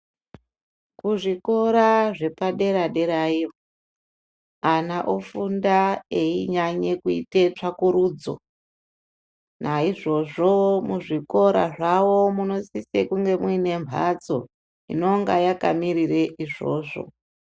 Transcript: Kuzvikoro zvepadera-dera iyo ,ana ofunda einyanye kuite tsvakurudzo. Naizvozvo, muzvikora. zvawo munosise kunga muine mphatso, inonga yakamirire izvozvo.